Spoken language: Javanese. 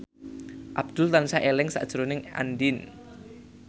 Abdul tansah eling sakjroning Andien